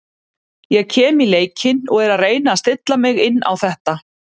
Ég kem í leikinn og er að reyna að stilla mig inn á þetta.